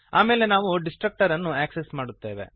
ಆಮೇಲೆ ನಾವು ಡಿಸ್ಟ್ರಕ್ಟರನ್ನು ಆಕ್ಸೆಸ್ ಮಾಡುತ್ತೇವೆ